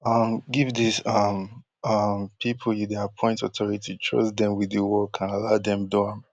um give these um um pipo you dey appoint authority trust dem wit di work and allow dem do am